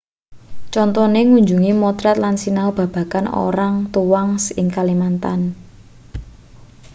contone ngunjungi motret lan sinau babagan organgatuangs ing kalimantan